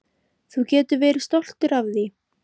Þú getur verið stoltur af því.